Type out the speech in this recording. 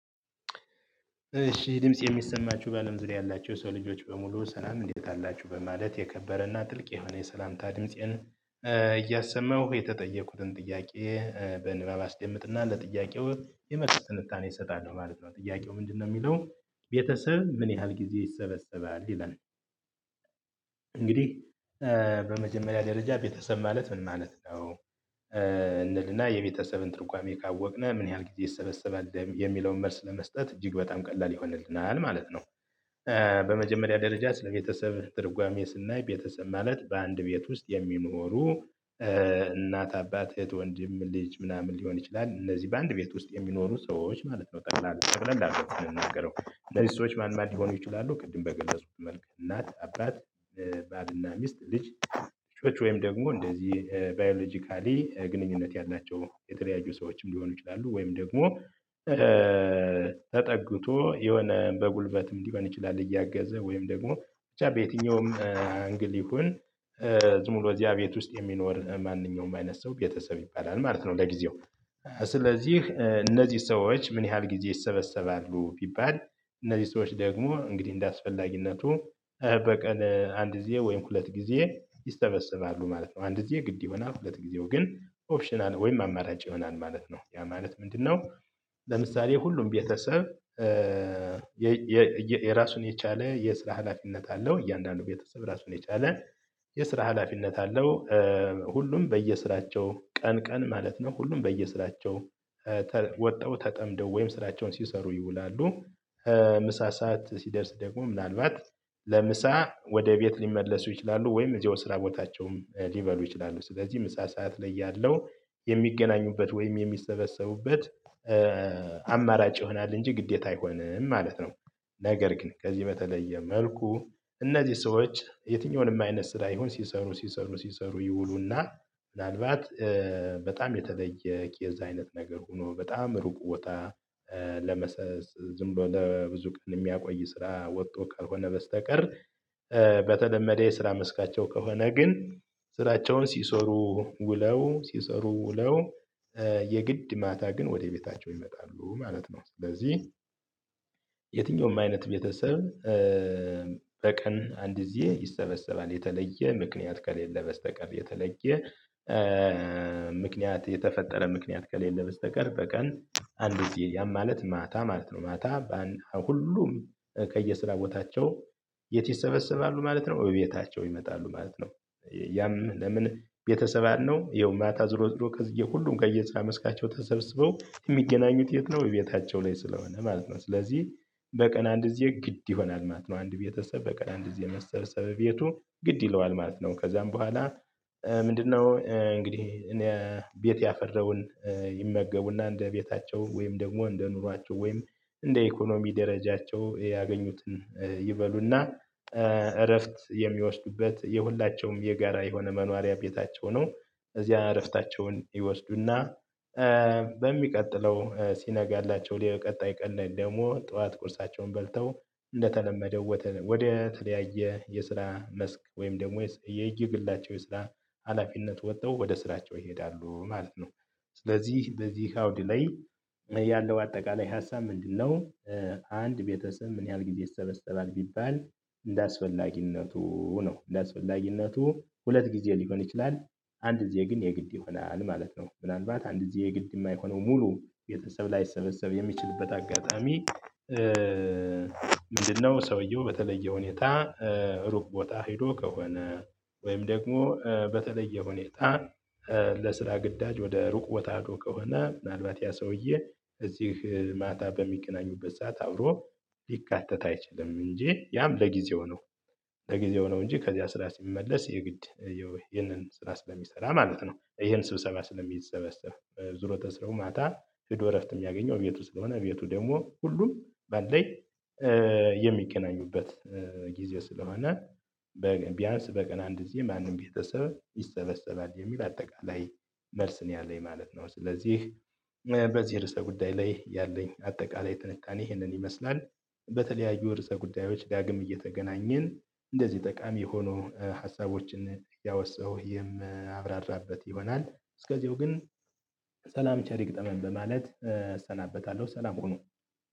እሺ ድምፄ የሚሰማቹ ባለም ዙሪያ ያላቹ የሰው ልጆች በሙሉ ሰላም እንዴት አላችሁ በማለት የከበረና ጥልቅ የሆነ የሰላምታ ድምፄን እያሰማሁ የተጠየቁትን ጥያቄ በንባብ አስደምጥና ለጥያቄው የመልስ ትንታኔ እሰጣለሁ ማለት ነው ጥያቄው ምንድነው እሚለው ቤተሰብ ምን ያህል ጊዜ ይሰበሰባል ይላል እንግዲህ በመጀመሪያ ደረጃ ቤተሰብ ማለት ምን ማለት ነው እንልና የቤተሰብን ትርጓሜ ካወቅነ ምን ያህል ጊዜ ይሰበሰባል የሚለውን መልስ ለመስጠት እጅግ በጣም ቀላል ይሆንልናል ማለት ነው በመጀመሪያ ደረጃ ስለ ቤተሰብ ትርጓሜ ስናይ ቤተሰብ ማለት በአንድ ቤት ውስጥ የሚኖሩ እናት፣ አባት፣ እህት፣ ወንድም፣ ልጅ ምናምን ሊሆን ይችላል። እነዚህ በአንድ ቤት ውስጥ የሚኖሩ ሰዎች ማለት ነው ጠቅላላ ጠቅለል አርገን ስንናገረው እነዚህ ሰዎች ማን ማን ሊሆኑ ይችላሉ ቅድም በገለጽኩት መልክ እናት አባት ባልና ሚስት፣ ልጅ፣ ልጆች ወይም ደግሞ እንደዚህ ባዮሎጂካሊ ግንኙነት ያላቸው የተለያዩ ሰዎችም ሊሆኑ ይችላሉ ወይም ደግሞ ተጠግቶ የሆነ በጉልበትም ሊሆን ይችላል እያገዘ ወይም ደግሞ ብቻ በየትኛውም አንግል ይሁን ዝም ብሎ እዚያ ቤት ውስጥ የሚኖር ማንኛውም አይነት ሰው ቤተሰብ ይባላል ማለት ነው ለጊዜው ስለዚህ እነዚህ ሰዎች ምን ያህል ጊዜ ይሰበሰባሉ ቢባል እነዚህ ሰዎች ደግሞ እንግዲህ እንደአስፈላጊነቱ በቀን አንድ ጊዜ ወይም ሁለት ጊዜ ይሰበሰባሉ ማለት ነው። አንድ ጊዜ ግድ ይሆናል፤ ሁለት ጊዜው ግን ኦፕሽናል ወይም አማራጭ ይሆናል ማለት ነው ያ ማለት ምንድነው ለምሳሌ ሁሉም ቤተሰብ የራሱን የቻለ የስራ ሀላፊነት አለው እያንዳንዱ ቤተሰብ ራሱን የቻለ የስራ ሀላፊነት አለው ሁሉም በየስራቸው ቀን ቀን ማለት ነው ሁሉም በየስራቸው ወጥተው ተጠምደው ወይም ስራቸውን ሲሰሩ ይውላሉ። ምሳ ሰዓት ሲደርስ ደግሞ ምናልባት ለምሳ ወደ ቤት ሊመለሱ ይችላሉ ወይም እዚያው ስራ ቦታቸውም ሊበሉ ይችላሉ ስለዚህ ምሳ ሰዓት ላይ ያለው የሚገናኙበት ወይም የሚሰበሰቡበት አማራጭ ይሆናል እንጂ ግዴታ አይሆንም ማለት ነው። ነገር ግን ከዚህ በተለየ መልኩ እነዚህ ሰዎች የትኛውንም አይነት ስራ ይሁን ሲሰሩ፣ ሲሰሩ፣ ሲሰሩ ይውሉና ምናልባት በጣም የተለየ ኬዝ አይነት ነገር ሆኖ በጣም እሩቅ ቦታ ዝም ብሎ ለብዙ ቀን የሚያቆይ ስራ ወጥቶ ከሆነ በስተቀር በተለመደ የስራ መስካቸው ከሆነ ግን፤ ስራቸውን ሲሰሩ ውለው፣ ሲሰሩ ውለው የግድ ማታ ግን ወደ ቤታቸው ይመጣሉ ማለት ነው በዚህ የትኛውም አይነት ቤተሰብ በቀን አንድ ጊዜ ይሰበሰባል የተለየ ምክንያት ከሌለ በስተቀር፣ የተለየ ምክንያት የተፈጠረ ምክንያት ከሌለ በስተቀር፣ በቀን አንድ ጊዜ ያም ማለት ማታ ማለት ነው ማታ ሁሉም ከየስራ ቦታቸው የት ይሰበሰባሉ ማለት ነው እቤታቸው ይመጣሉ ማለት ነው ያም ለምን ቤተሰብ አለው ይኸው ማታ ዞሮ ዞሮ ከዚህ ሁሉም ከየስራ መስካቸው ተሰብስበው የሚገናኙት የት ነው እቤታቸው ላይ ስለሆነ ማለት ነው ስለዚህ በቀን አንድ ጊዜ ግድ ይሆናል ማለት ነው አንድ ቤተሰብ በቀን አንድ ጊዜ መሰብሰብ እቤቱ ግድ ይለዋል ማለት ነው ከዛም በኋላ ምንድነው እንግዲህ ቤት ያፈራውን ይመገቡና እንደ ቤታቸው ወይም ደግሞ እንደ ኑሯቸው ወይም እንደ ኢኮኖሚ ደረጃቸው ያገኙትን ይበሉና እረፍት የሚወስዱበት የሁላቸውም የጋራ የሆነ መኖሪያ ቤታቸው ነው እዚያ እረፍታቸውን ይወስዱና በሚቀጥለው ሲነጋላቸው ቀጣይ ቀን ላይ ደግሞ ጠዋት ቁርሳቸውን በልተው እንደተለመደው ወደ ተለያየ የስራ መስክ ወይም ደግሞ የየግላቸው የስራ ሀላፊነት ወጥተው ወደ ስራቸው ይሄዳሉ ማለት ነው። ስለዚህ በዚህ አውድ ላይ ያለው አጠቃላይ ሀሳብ ምንድነው አንድ ቤተሰብ ምን ያህል ጊዜ ይሰበሰባል ቢባል እንደአስፈላጊነቱ ነው። እንደአስፈላጊነቱ ሁለት ጊዜ ሊሆን ይችላል፤ አንድ ጊዜ ግን የግድ ይሆናል ማለት ነው። ምናልባት አንድ ጊዜ የግድ የማይሆነው ሙሉ ቤተሰብ ላይሰበሰብ የሚችልበት አጋጣሚ ምንድነው ሰውየው በተለየ ሁኔታ ሩቅ ቦታ ሄዶ ከሆነ ወይም ደግሞ በተለየ ሁኔታ ለስራ ግዳጅ ወደ ሩቅ ቦታ ሄዶ ከሆነ ምናልባት ያ ሰውዬ እዚህ ማታ በሚገናኙበት ሰዓት አብሮ ሊካተት አይችልም እንጂ ያም ለጊዜው ነው ለጊዜው ነው እንጂ ከዚያ ስራ ሲመለስ የግድ ይሄንን ስራ ስለሚሰራ ማለት ነው። ይሄን ስብሰባ ስለሚሰበሰብ ማታ ሄዶ እረፍት የሚያገኘው እቤቱ ስለሆነ እቤቱ ደግሞ ሁሉም ባለው የሚገናኙበት ጊዜ ስለሆነ ቢያንስ በቀን አንድ ጊዜ ማንም ቤተሰብ ይሰበሰባል የሚል አጠቃላይ መልስ ነው ያለኝ ማለት ነው። ስለዚህ በዚህ ርዕሰ ጉዳይ ላይ ያለኝ አጠቃላይ ትንታኔ ይሄንን ይመስላል በተለያዩ ርዕሰ ጉዳዮች ዳግም እየተገናኘን እንደዚህ ጠቃሚ የሆኑ ሀሳቦችን እያወሳሁ የማብራራበት ይሆናል እስከዚያው ግን ሰላም ቸር ይግጠመን በማለት እሰናበታለሁ ሰላም ሁኑ